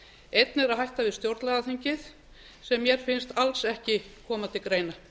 einn er að hætta við stjórnlagaþingið sem mér finnst alls ekki koma til greina